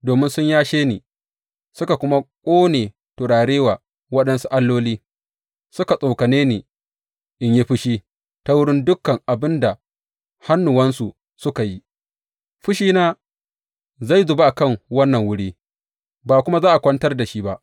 Domin sun yashe ni suka kuma ƙone turare wa waɗansu alloli, suka tsokane ni in yi fushi ta wurin dukan abin da hannuwansu suka yi, fushina zai zuba a kan wannan wuri, ba kuma za a kwantar da shi ba.’